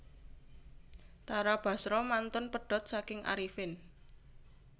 Tara Basro mantun pedhot saking Arifin